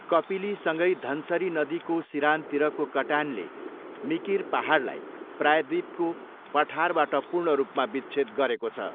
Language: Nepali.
कपिलीसँगै धनसरी नदीको सिरानतिरको कटानले मिकिर पाहाडलाई प्रायःद्वीपको पठारबाट पूर्ण रूपमा विच्छेद गरेको छ।